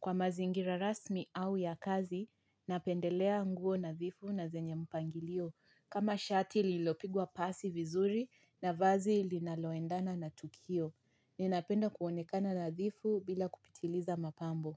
Kwa mazingira rasmi au ya kazi, napendelea nguo nadhifu na zenye mpangilio kama shati lililopigwa pasi vizuri na vazi linaloendana na tukio. Ninapenda kuonekana nadhifu bila kupitiliza mapambo.